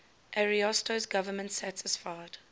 ariosto's government satisfied